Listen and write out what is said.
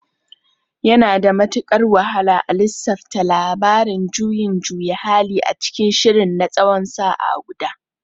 Yana da matukar wahala a lissafta labarin juyin juya hali a cikin shirin na tsawon sa'a guda.